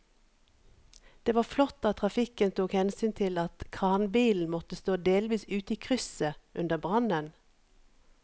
Det var flott at trafikken tok hensyn til at kranbilen måtte stå delvis ute i krysset under brannen.